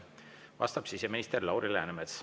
Vastab siseminister Lauri Läänemets.